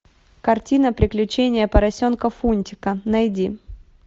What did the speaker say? картина приключения поросенка фунтика найди